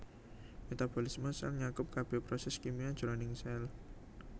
Metabolisme sèl nyakup kabèh prosès kimia jroning sèl